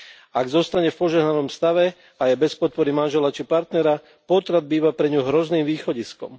Ak zostane v požehnanom stave a je bez podpory manžela či partnera, potrat býva pre ňu hrozným východiskom.